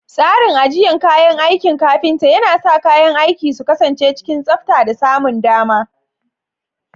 Tsarin ajiyar kayan aikin kafinta yana sa kayan aiki su kasance cikin tsabta da samun dama.